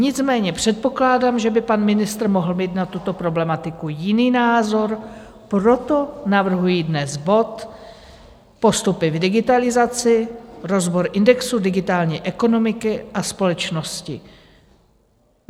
Nicméně předpokládám, že by pan ministr mohl mít na tuto problematiku jiný názor, proto navrhuji dnes bod Postupy v digitalizaci, rozbor indexu digitální ekonomiky a společnosti.